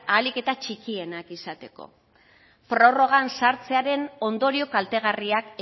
ahalik eta txikienak izateko prorrogan sartzearen ondorio kaltegarriak